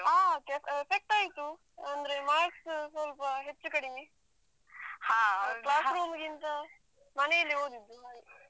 ಆ effect ಆಯ್ತು. ಅಂದ್ರೆ marks ಸ್ವಲ್ಪ ಹೆಚ್ಚು ಕಡಿಮೆ. class room ಗಿಂತ ಮನೆಯಲ್ಲಿ ಓದಿದ್ದು ಹಾಗೆ.